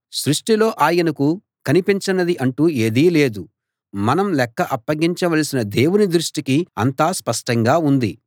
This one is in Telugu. సృష్టిలో ఆయనకు కనిపించనిది అంటూ ఏదీ లేదు మనం లెక్క అప్పగించవలసిన దేవుని దృష్టికి అంతా స్పష్టంగా ఉంది